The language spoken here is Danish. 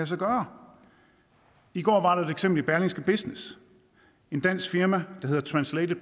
sig gøre i går var der et eksempel i berlingske business et dansk firma der hedder translated